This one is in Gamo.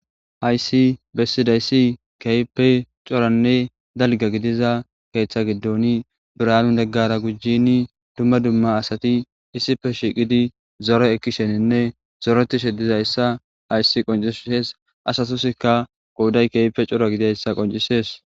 hayssi bessidayssi keype coranne dalga gidiza keeththa giddoni bira7aalun neggara gujini dumma dumma asati issife shiqidi zore ekkisheninne zoretishe dizayssa hayssi qoncisees asatusikka qouday keype cora gidayssa qoncisees